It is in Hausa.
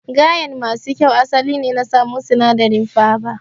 Gayen masu kyau asali ne na samu sinadarin faba